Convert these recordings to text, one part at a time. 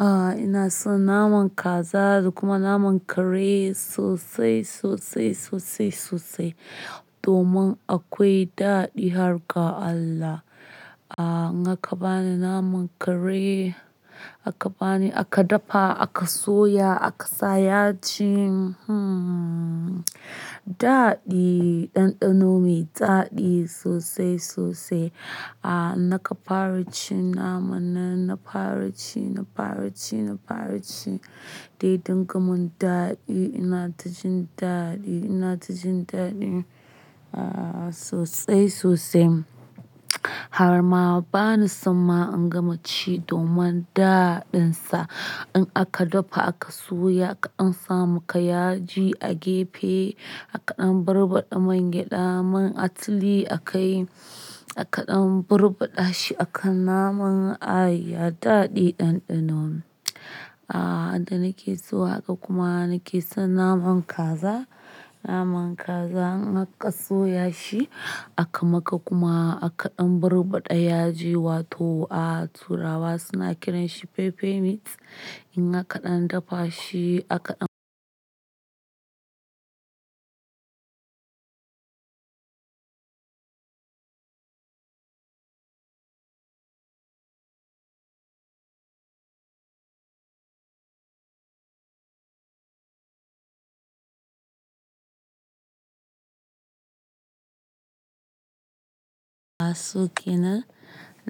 Aaa ina son naman kaza da kuma naman kare sosai, sosai, sosai, sosai domin akwai daɗi har ga Allah. Aaa naga bani naman kare aka bani aka dafa aka soya aka sa yaji hmmm daɗi ɗanɗano mai daɗi sosai sosai. Aaa naka fara cin naman nan na fara ci, na fara ci, na fara ci dai dinga mun daɗi ina tajin daɗi ina tajin daɗi. Aaa sosai sosai har ma bani sama in gama ci domin daɗin sa in aka dafa aka soya aka dan sa maka yaji a gefe aka ɗan burɓaɗa man gyaɗa man atili a kai aka ɗan burɓaɗa shi akan naman ay ya daɗe ɗanɗano. Aaa inda nake so haka kuma nake son naman kaza, naman kaza in aks soya shi aka maka kuma aka ɗan burɓaɗa yaji wato a turawa suna kiran shi pepper meat in aka ɗan dafa shi aka- A suƙina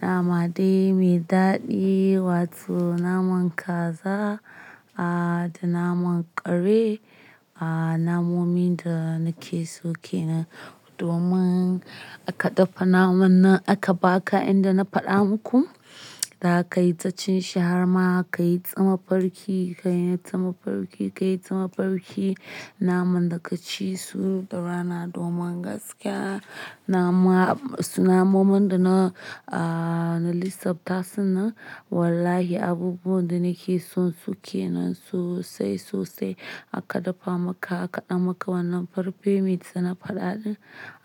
nama dai mai daɗi wato naman kaza aaa da naman kare aaa namomin da nake sokena domin aka dafa naman nan aka baka inda na faɗa muku da ka yi ta cin shi har ma ka yi ta mafarki, ka yi ta mafarki, ka yi ta mafarki naman da ka ci su da rana domin gaskiya nama-- namomin da na aaa na lissafta suna wallahi abubuwan da nake son suke nan sosai sosai aka dafa maka aka ɗan maka wannan pepper meat da na faɗa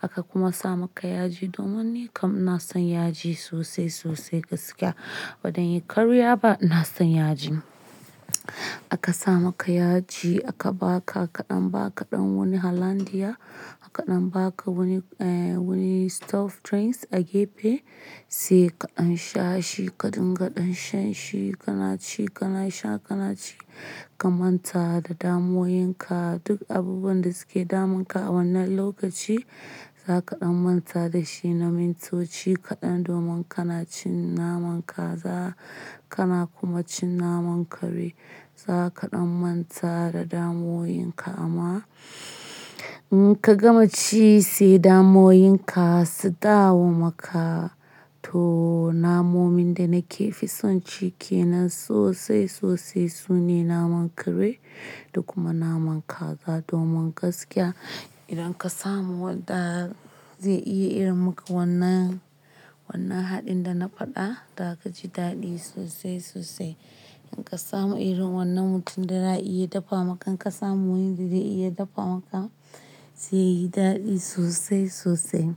aka kuma sa maka yaji domin nikam na son yaji sosai sosai gaskiya. Ban iya karya ba ina son yaji. Aka sa maka yaji aka baka aka ɗan baka ɗan wani hollandia aka ɗan baka wani eh wani stuffed drinks a gefe sai ka an sha shi ka dingaɗan shan shi kana ci kana sha kana ci ka manta da damoyinka duk abubuwan da suke damunka a wannan lokaci zaka ɗan manta dashi na mintoci kaɗan domin kana cin naman kaza kana kuma cin naman kare zaka ɗan manta da damoyinka amma in ka gama ci sai damoyinka su dawo maka. To namomin da nake fi son cike nan sosai sosai sune naman kare da kuma naman kaza domin gaskiya idan ka samu wanda zai iya yi maka wannan, wannan haɗin da na faɗa da zaka ci daɗi sosai sosai. In ka samu irin wannan mutum da za a iya dafa maka in ka samu wanda zai iya dafa maka zai yi daɗi sosai sosai.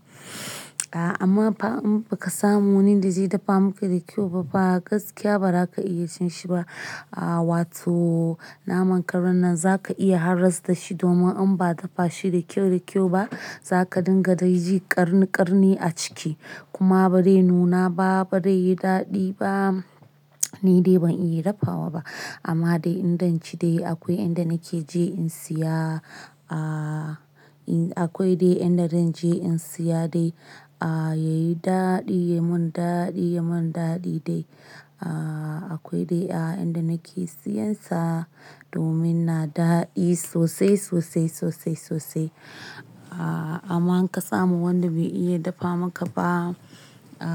A amma ba in ka samu wani da zai dafa maka da kyau ba fa gaskiya ba za ka iya cin shi ba. Aaa wato naman karen nan zaka iya haras da shi domin in ba dafa shi da kyau da kyau ba zaka dinga daiji ƙarni ƙarni a ciki kuma ba zai nuna ba ba zai yi daɗi ba ni dai ban iya dafawa ba amma dai inda naci dai akwai inda nake je in siya aaa akwai dai inda zan je in siya dai aaa yayi daɗi ya mun daɗi ya mun daɗi dai aaa akwai dai a inda nake siyansa domin na daɗe sosai sosai sosai sosai. A amma in ka samu wanda bai iya dafa maka ba a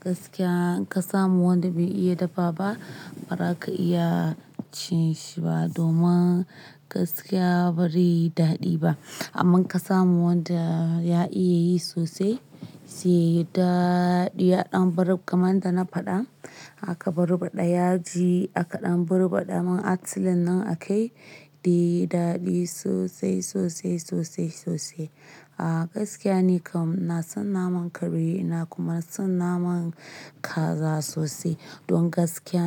gaskiya in ka samu wanda bai iya dafa ba ba za ka iya cin shi ba domin gaskiya ba zai yi daɗi ba. Amma in ka samu wanda ya iya yi sosai zai yi daɗi ya ɗan burɓa kamar da na faɗa aka burɓaɗa yaji aka ɗan burɓaɗa man atilen nan a kai dai daɗi sosai sosai sosai sosai. A gaskiya nikam na son naman kare ina kuma son naman kaza sosai don gaskiya.